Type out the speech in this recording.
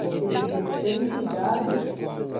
Porque eles diziam, tenham cuidado.